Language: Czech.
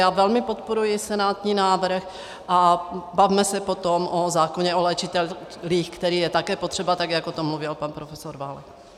Já velmi podporuji senátní návrh a bavme se potom o zákoně o léčitelích, který je také potřeba, tak jak o tom mluvil pan profesor Válek.